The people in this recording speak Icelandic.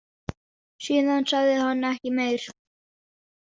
Síðan sagði hann ekki meir.